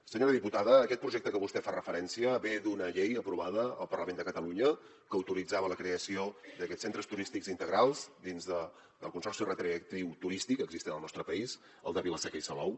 senyora diputada aquest projecte a què vostè fa referència ve d’una llei aprovada al parlament de catalunya que autoritzava la creació d’aquests centres turístics integrals dins del consorci recreatiu turístic existent al nostre país el de vila seca i salou